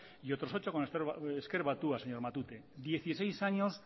y otros ocho con ezker batua señor matute dieciseis años